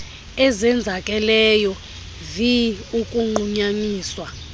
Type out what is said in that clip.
ezenzakeleyo vi ukunqunyanyiswa